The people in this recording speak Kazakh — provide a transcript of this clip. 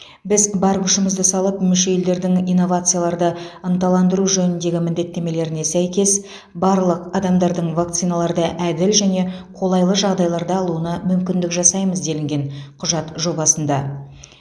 біз бар күшімізді салып мүше елдердің инновацияларды ынталандыру жөніндегі міндеттемелеріне сәйкес барлық адамдардың вакциналарды әділ және қолайлы жағдайларда алуына мүмкіндік жасаймыз делінген құжат жобасында